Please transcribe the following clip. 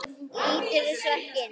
Líturðu svo ekki inn?